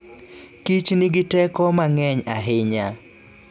kich nigi teko mang'eny ahinya.